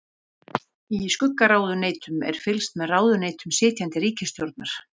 Í skuggaráðuneytum er fylgst með ráðuneytum sitjandi ríkisstjórnar.